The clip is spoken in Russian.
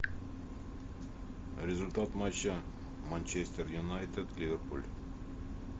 результат матча манчестер юнайтед ливерпуль